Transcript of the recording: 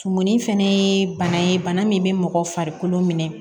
Tumumuni fɛnɛ ye bana ye bana min bɛ mɔgɔ farikolo minɛ